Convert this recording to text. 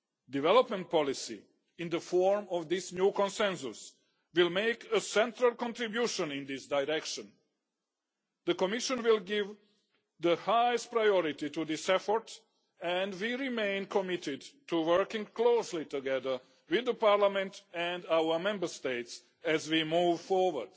Development policy, in the form of this new Consensus, will make a central contribution in this direction. The Commission will give the highest priority to this effort and we remain committed to working closely together with Parliament and our Member States as we move forward.